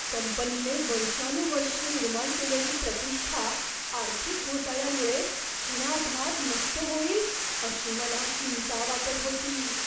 कंपनीने वर्षानुवर्षे निर्माण केलेली प्रतिष्ठा आर्थिक घोटाळ्यामुळे क्षणार्धात नष्ट होईल अशी मला चिंता वाटत होती.